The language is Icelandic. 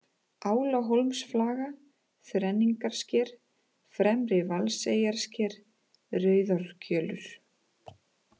Álahólmaflaga, Þrenningarsker, Fremri-Valseyjarsker, Rauðárkjölur